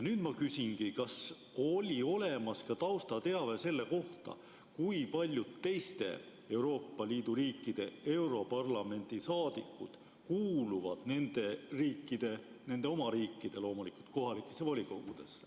Nüüd ma küsingi, kas oli olemas ka taustateave selle kohta, kui paljud teiste Euroopa Liidu riikide europarlamendi liikmed kuuluvad nende oma riigi kohalikesse volikogudesse.